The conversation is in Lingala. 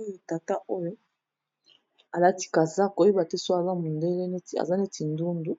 Oyo tata oyo a lati kazaka, ko yeba te soki aza mondele, aza neti ndundu